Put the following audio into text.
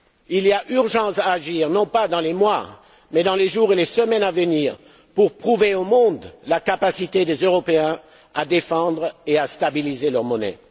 prix. Il y a urgence à agir, non pas dans les mois, mais dans les jours et les semaines à venir, pour prouver au monde la capacité des Européens à défendre et à stabiliser leur monnaie.